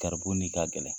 Garibu ni ka gɛlɛn